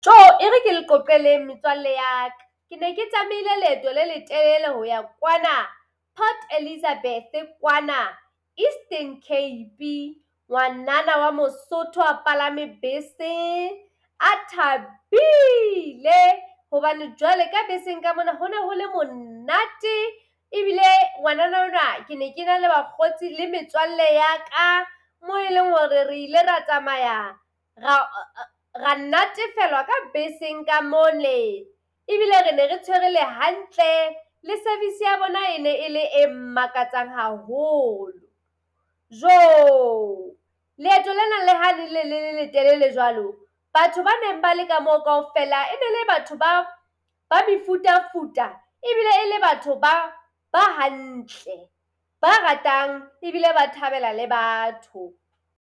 Ere ke le qoqeleng metswalle ya ka. Ke ne ke tsamaile leeto le letelele hoya kwana Port Elizabeth, kwana Eastern Cape. Ngwanana wa Mosotho a palame bese, a thabile hobane jwale ka beseng ka mona ho ne ho le monate ebile ngwanana ona ke ne ke na le bakgotsi le metswalle ya ka mo e leng hore re ile ra tsamaya ra natefelwa ka beseng ka mole. Ebile re ne re tshwerwe le hantle. Le service ya bona e ne e le e makatsang haholo. Leeto lena le ha ne le le letelele jwalo batho ba neng ba leka moo kaofela ene le batho ba ba mefuta-futa ebile e le batho ba ba hantle, ba ratang ebile ba thabela le batho.